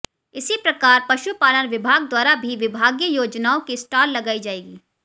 इसी प्रकार पशुपालन विभाग द्वारा भी विभागीय योजनाओं की स्टाल लगाई जाएगी